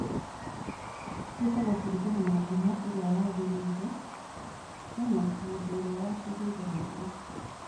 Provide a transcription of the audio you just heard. ciĩtagwo kũringana na ngumo ĩrĩa yagĩrĩire kana mũndũ ũrĩa waciheire rĩtwa